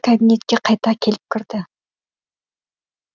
кабинетке қайта келіп кірді